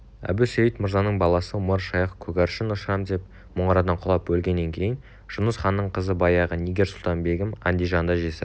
әбусейіт мырзаның баласы омар-шайх көгаршын ұшырам деп мұнарадан құлап өлгеннен кейін жұныс ханның қызы баяғы нигер-сұлтан-бегім андижанда жесір